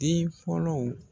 Den fɔlɔw